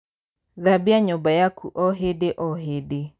Thabia nyũmba yaku o hĩndĩo hĩndĩ.